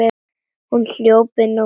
Hún hljóp inn í kofann.